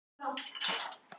Því fór sem fór.